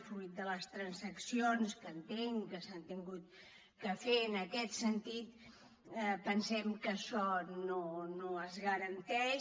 fruit de les transaccions que entenc que s’han hagut de fer en aquest sentit pensem que això no es garanteix